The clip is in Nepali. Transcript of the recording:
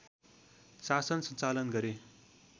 शासन सञ्चालन गरे